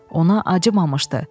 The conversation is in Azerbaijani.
Ona acımamışdı.